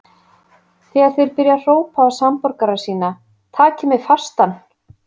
Þegar þeir byrja að hrópa á samborgara sína: Takið mig fastan!